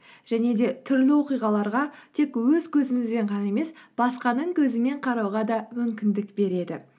және де түрлі оқиғаларға тек өз көзімізбен ғана емес басқаның көзімен қарауға да мүмкіндік береді